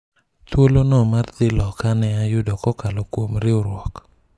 thuolo no mar dhi loka ne ayudo kokalo kuom riwruok